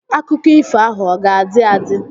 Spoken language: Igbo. Akụkọ ifo ahụ ọ ga-adị adị?